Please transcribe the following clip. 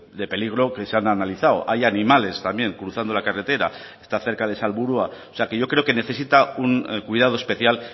de peligro que se han analizado hay animales también cruzando la carretera está cerca de salburua o sea que yo creo que necesita un cuidado especial